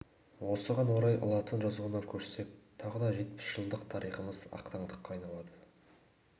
осыған орай латын жазуына көшсек тағы да жетпіс жылдық тарихымыз ақтаңдаққа айналады